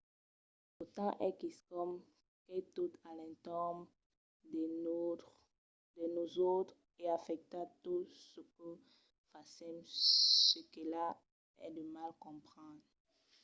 lo temps es quicòm qu’es tot a l’entorn de nosautres e afècta tot çò que fasèm çaquelà es de mal comprendre